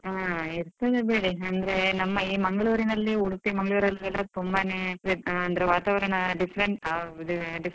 ಆ ಇರ್ತದೆ ಬಿಡಿ, ಅಂದ್ರೆ ನಮ್ಮ ಈ ಮಂಗಳೂರಿನಲ್ಲಿ ಉಡುಪಿ ಮಂಗಳೂರಲೆಲ್ಲಾ ತುಂಬಾನೇ ಅಂದ್ರೆ ವಾತಾವರಣ different ಅ different.